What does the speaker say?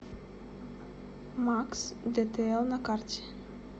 макс дэтээл на карте